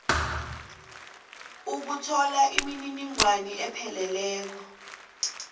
ukuthola imininingwana epheleleko